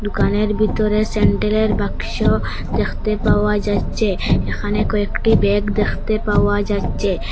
দোকানের বিতরে স্যান্ডেলের বাক্স দেখতে পাওয়া যাচ্চে এখানে কয়েকটি ব্যাগ দেখতে পাওয়া যাচ্চে।